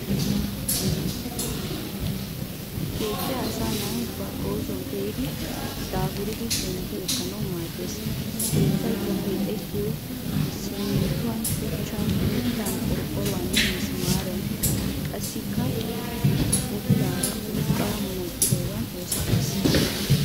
Keettay asaa na'ay ba oosuwan pee'idi daafuridi shemppi ekkanawu maaddees. Ha keettaykka keexettiyoy simminttuwan, shuchchan, mittan qorqoruwaaninne misimaariyan qassikka utulaara urqqaa munaqqidoogan oosettees.